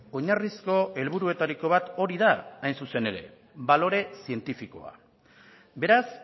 oinarrizko helburuetariko bat hori da hain zuzen ere balore zientifikoa beraz